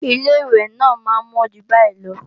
Ilé-ìwẹ̀ náà máa ń mọ́ jù báyìí lọ